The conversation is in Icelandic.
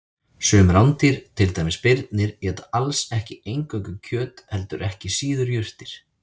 Sum rándýr, til dæmis birnir, éta alls ekki eingöngu kjöt heldur ekki síður jurtir.